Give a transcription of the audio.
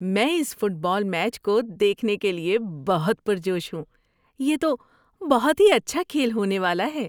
میں اس football match کو دیکھنے کے لیے بہت پرجوش ہوں! یہ تو بہت ہی اچھا کھیل ہونے والا ہے۔